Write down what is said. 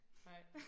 Hej